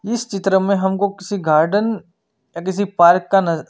इस चित्र में हमको किसी गार्डन या किसी पार्क का नज--